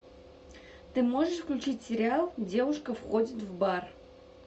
ты можешь включить сериал девушка входит в бар